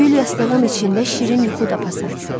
Gül yastığın içində şirin yuxu tapasan.